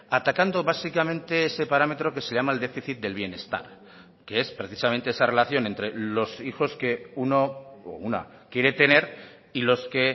atacando básicamente ese parámetro que se llama el déficit del bienestar que es precisamente esa relación entre los hijos que uno o una quiere tener y los que